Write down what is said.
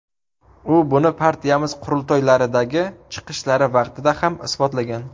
U buni partiyamiz qurultoylaridagi chiqishlari vaqtida ham isbotlagan.